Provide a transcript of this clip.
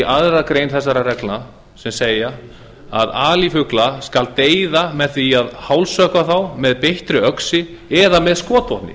annarri grein þessara reglna sem segja að alifugla skal deyða með því að hálshöggva þá með beittri öxi eða með skotvopni